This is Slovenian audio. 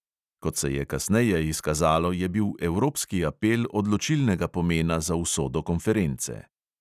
Kot se je kasneje izkazalo, je bil evropski apel odločilnega pomena za usodo konference.